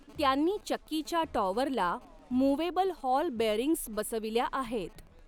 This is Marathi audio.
त्यांनी चक्कीच्या टॉवरला मुव्हेबल हॉल बेअरिंग्ज बसविल्या आहेत.